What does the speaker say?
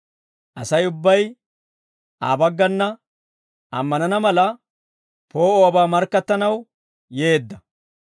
Asay ubbay Aa baggana ammanana mala, poo'uwaabaa markkattanaw yeedda.